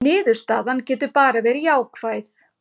Niðurstaðan getur bara verið jákvæð